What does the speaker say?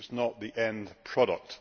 it is not the end product.